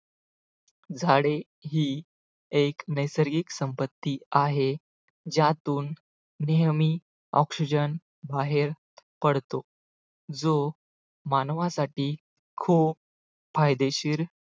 झाडे ही एक नैसर्गिक संपत्ती आहे ज्यातून नेहमी oxygen बाहेर पडतो जो मानवासाठी खूप फायदेशीर